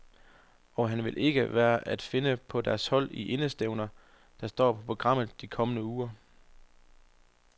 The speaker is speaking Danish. Og han vil ikke være at finde på deres hold i de indestævner, der står på programmet de kommende uger.